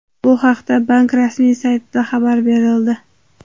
Bu haqda bank rasmiy saytida xabar berildi .